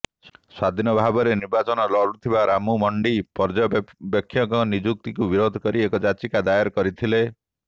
ସ୍ବାଧୀନ ଭାବରେ ନିର୍ବାଚନ ଲଢୁଥିବା ରାମୁ ମଣ୍ଡୀ ପର୍ଯ୍ୟବେକ୍ଷକଙ୍କ ନିଯୁକ୍ତିକୁ ବିରୋଧ କରି ଏକ ଯାଚିକା ଦାୟର କରିଥିଲେ